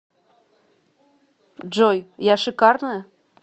джой я шикарная